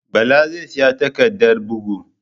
Bala zai siya takardar bugu